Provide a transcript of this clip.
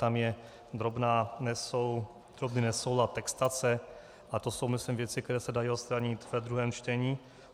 Tam je drobný nesoulad textace, ale to jsou, myslím, věci, které se dají odstranit ve druhém čtení.